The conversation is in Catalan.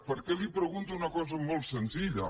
perquè li pregunto una cosa molt senzilla